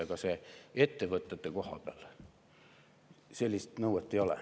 Aga ettevõtete kohta sellist nõuet ei ole.